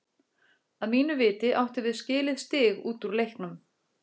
Að mínu viti áttum við skilið stig út úr leiknum.